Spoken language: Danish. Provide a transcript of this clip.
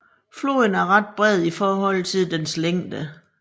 Floden er ret bred i forhold til dens længde